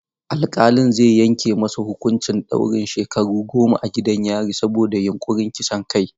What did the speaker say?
Alkalin zai yanke masa huƙuncin ɗaurin shekaru goma a gidan yari saboda yunƙurin kisan kai.